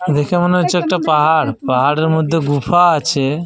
দেখা মনে হচ্ছে একটা পাহাড়। পাহাড়ের মধ্যে গুফা আছে ।